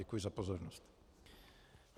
Děkuji za pozornost.